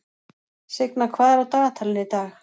Signa, hvað er á dagatalinu í dag?